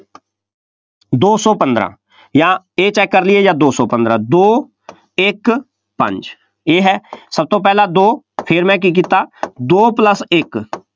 ਦੋ ਸੌ ਪੰਦਰਾ ਜਾਂ ਇਹ check ਕਰ ਲਈਏ ਜਾਂ ਦੋ ਸੌ ਪੰਦਰਾਂ, ਦੋ, ਇੱਕ, ਪੰਜ, ਇਹ ਹੈ ਸਭ ਤੋਂ ਪਹਿਲਾਂ ਦੋ, ਫੇਰ ਮੈਂ ਕੀ ਕੀਤਾ, ਦੋ plus ਇੱਕ,